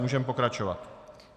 Můžeme pokračovat.